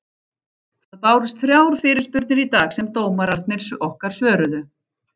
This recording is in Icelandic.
Það bárust þrjár fyrirspurnir í dag sem dómararnir okkar svöruðu.